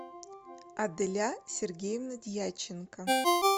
аделя сергеевна дьяченко